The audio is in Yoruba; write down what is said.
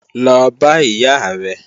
Lọ bá ìyá rẹ̀!